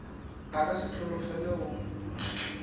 a ka se holofele go